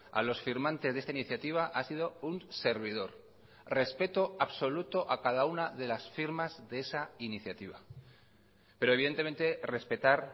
a los firmantes de esta iniciativa ha sido un servidor respeto absoluto a cada una de las firmas de esa iniciativa pero evidentemente respetar